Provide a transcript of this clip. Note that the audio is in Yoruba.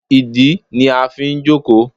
ìdí ni a n fí jòkó